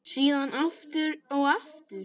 Síðan aftur og aftur.